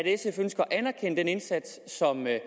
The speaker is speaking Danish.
sf ønsker at anerkende den indsats som er